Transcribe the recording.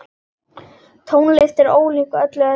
Tónlist er ólík öllu öðru.